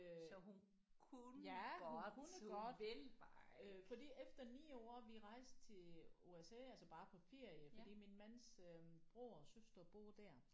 Øh ja hun kunne godt øh fordi efter 9 år vi rejste til USA altså bare på ferie fordi min mands øh bror og søster bor der